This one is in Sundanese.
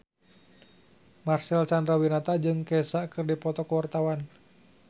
Marcel Chandrawinata jeung Kesha keur dipoto ku wartawan